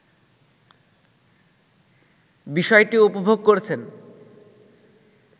বিষয়টি উপভোগ করছেন